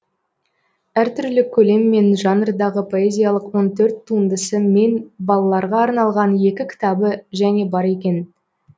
әр түрлі көлем мен жанрдағы поэзиялық он төрт туындысы мен балаларға арналған екі кітабы және бар екен